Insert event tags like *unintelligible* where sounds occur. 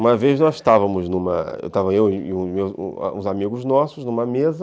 Uma vez nós estávamos, numa... *unintelligible* eu e uns amigos nossos, numa mesa